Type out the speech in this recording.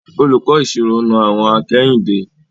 Olùkọ́ ìṣirò na àwọ̀n akẹ́yìndé.